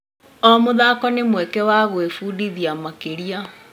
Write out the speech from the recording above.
O mũthako nĩ mweke wa gwĩbundithia makĩria.